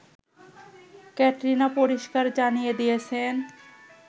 ক্যাটরিনা পরিস্কার জানিয়ে দিয়েছেন